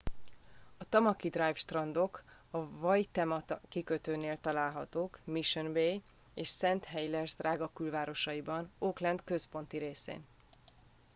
a tamaki drive strandok a waitemata kikötőnél találhatók mission bay és st heliers drága külvárosaiban auckland központi részén